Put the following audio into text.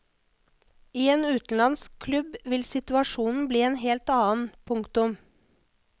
I en utenlandsk klubb vil situasjonen bli en helt annen. punktum